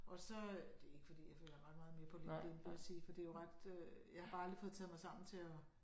Og så øh det ikke fordi jeg følger ret meget med på LinkedIn vil jeg sige for det jo ret øh jeg har bare aldrig fået taget mig sammen til at